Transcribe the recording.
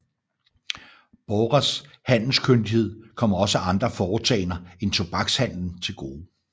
Borres handelskyndighed kom også andre foretagender end tobakshandelen til gode